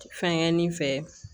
Fɛnkɛ nin fɛ